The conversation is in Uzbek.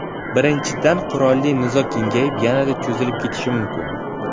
Birinchidan, qurolli nizo kengayib, yanada cho‘zilib ketishi mumkin.